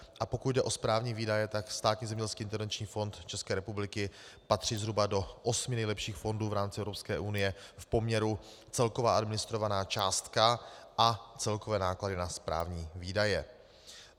A pokud jde o správní výdaje, tak Státní zemědělský intervenční fond České republiky patří zhruba do osmi nejlepších fondů v rámci Evropské unie v poměru celková administrovaná částka a celkové náklady na správní výdaje.